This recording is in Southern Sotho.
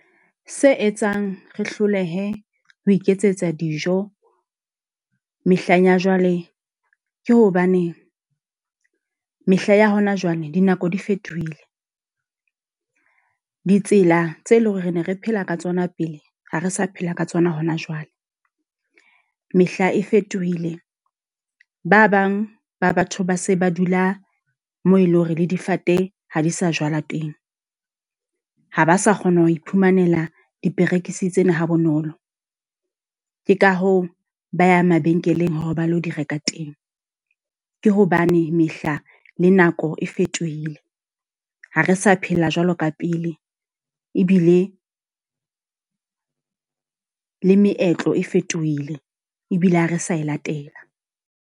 Se etsang re hlolehe ho iketsetsa dijo mehleng ya jwale, ke hobaneng mehla ya hona jwale dinako di fetohile. Ditsela tse leng hore re ne re phela ka tsona pele ha re sa phela ka tsona hona jwale. Mehla e fetohile. Ba bang ba batho ba se ba dula moo e leng hore le difate ha di sa jwala teng. Ha ba sa kgona ho iphumanela diperekisi tsena ha bonolo. Ke ka hoo ba ya mabenkeleng hore ba lo di reka teng. Ke hobane mehla le ho e fetohile. Ha re sa phela jwalo ka pele, ebile le meetlo e fetohile. Ebile ha re sa e latela.